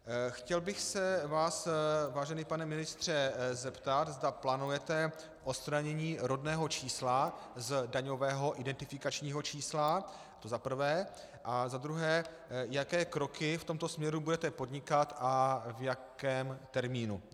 Chtěl bych se vás, vážený pane ministře, zeptat, zda plánujete odstranění rodného čísla z daňového identifikačního čísla, to za prvé, a za druhé, jaké kroky v tomto směru budete podnikat a v jakém termínu.